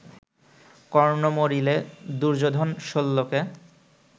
কর্ণ মরিলে, দুর্যোধন শল্যকে